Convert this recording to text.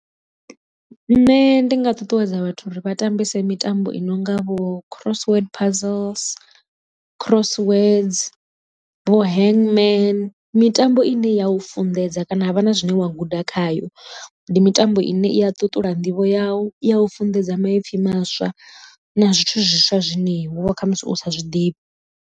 Nṋe ndi nga ṱuṱuwedza vhathu uri vha tambese mitambo i nonga vho crossword puzzles, cross words vho handman mitambo i ne ya u funḓedza kana ha vha na zwine wa guda khayo. Ndi mitambo i ne i a ṱuṱula nḓivho yau i ya u funḓedza maipfi maswa na zwithu zwiswa zwine wovha kha musi u sa zwiḓivhi.